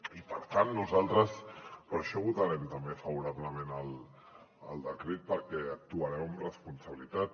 i per tant nosaltres per això votarem també favorablement el decret perquè actuarem amb responsabilitat